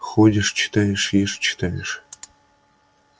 ходишь читаешь ешь читаешь